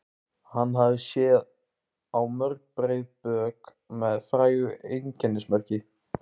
Hann hafði séð á mörg breið bök með frægu einkennismerki.